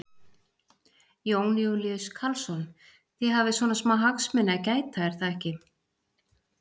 Þeir buðu mér það.